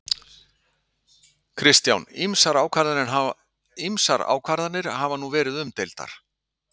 Kristján: Ýmsar ákvarðanir hafa nú verið umdeildar?